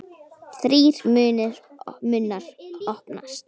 Þrír munnar opnast.